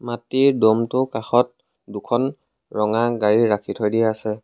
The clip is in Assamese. মাটিৰ দ'মটো কাষত দুখন ৰঙা গাড়ী ৰাখি থৈ দিয়া আছে।